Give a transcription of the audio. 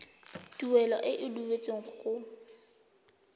tuelo e e duetsweng go